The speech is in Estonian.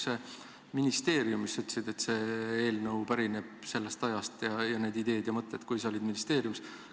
Sa ütlesid, et see eelnõu ja need ideed ja mõtted pärinevad sellest ajast, kui sina ministeeriumis olid.